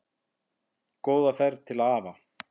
Góða ferð til afa.